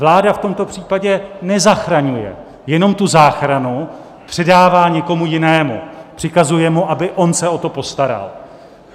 Vláda v tomto případě nezachraňuje, jenom tu záchranu předává někomu jinému, přikazuje mu, aby on se o to postaral.